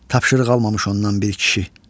Tapşırıq almamış ondan bir kişi.